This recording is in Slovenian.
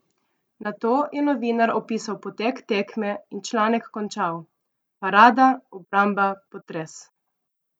Nato je novinar opisal potek tekme in članek končal: "Parada, obramba, potres.